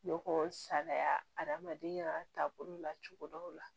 Ne ko salaya aramadenya taabolo la cogo dɔw la